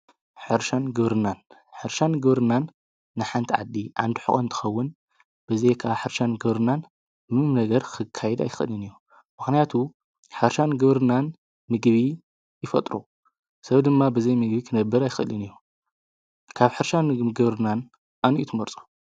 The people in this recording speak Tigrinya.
ህርሻን ግብርናን ሕርሻን ገብርናን ንሓንቲ ዓዲ ኣንድሕኾን ትኸውን ብዘይ ብ ሕርሻን ገብርናን ምም ነገር ክካይድ ኣይክእልን እዩ መኽንያቱ ሕርሻን ገብርናን ምግቢ ይፈጥሮ ሰብ ድማ ብዘይ ምግቢ ክነብር ኣይኽእልን እዩ ካብ ሕርሻን ምገብርናን ኣንዩትመርጾ።